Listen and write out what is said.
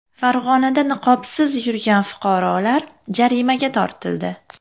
Farg‘onada niqobsiz yurgan fuqarolar jarimaga tortildi .